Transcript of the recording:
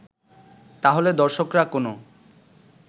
তাহলে দর্শকরা কোনো